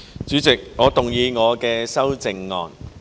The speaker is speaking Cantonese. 主席，我動議我的修正案。